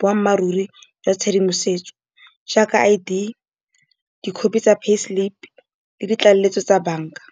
boammaaruri jwa tshedimosetso, jaaka I_D, dikhopi tsa pay slip le ditlaleletso tsa bank-a.